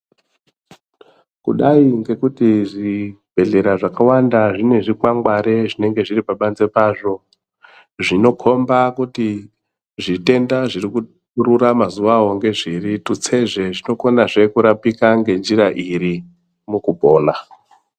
Kudai ngekuti zvibhedhlera zvakawanda zvine zvikwangwari zvinenge zviripabanze pazvo, zvinokhomba kuti zvitenda zvirikurura mazawo ngezviri. Tutsezve zvinokonazve kurapika ngenjira iri mukupona.